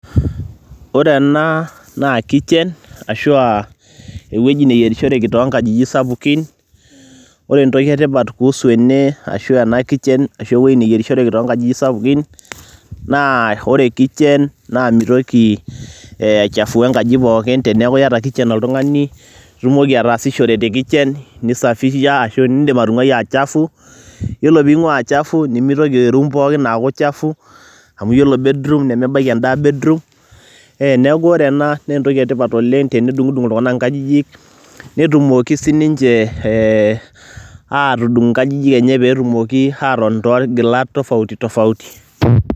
Ore ena naa kitchen ashu a ewoji nayerishoreki too nkajijik sapukin, ore entoki e tipat kuhusu ene ashu ena kitchen ashu ewoji nayerishoreki too nkajijik sapukin, naa ore kitchen naa mitoki ee ai chafua enkaji pookin teneeku iyata kitchen oltung'ani, itumoki ataasishore te kitchen, nisafisha ashu niindim atung'wai aa chafu. Yiolo piing'ua a chafu, nemitoki e room pookin aaku chafu amu iyiolo bedroom nemebaiki endaa bedroom. Neeku ore ena nee entoki e tipat oleng' tenedung'dung' iltung'anak inkajijik , netumoki sininje ee atudung' nkajijik enje pee etumoki atotoni torgilat tofauti tofauti.